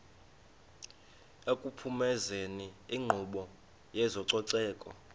ekuphumezeni inkqubo yezococeko